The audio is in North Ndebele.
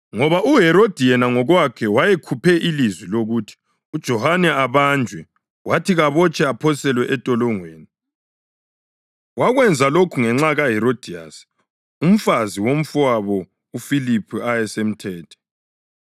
Ngoba uHerodi yena ngokwakhe wayekhuphe ilizwi lokuthi uJohane abanjwe, wathi kabotshwe aphoselwe entolongweni. Wakwenza lokho ngenxa kaHerodiyasi, umfazi womfowabo uFiliphu ayesemthethe.